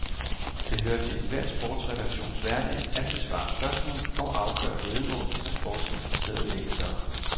Det hører til enhver sportsredaktions hverdag at besvare spørgsmål og afgøre væddemål fra sportsinteresserede læsere.